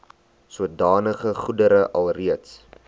sodanige goedere alreeds